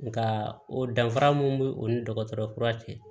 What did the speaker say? Nka o danfara mun bɛ o ni dɔgɔtɔrɔ kura cɛ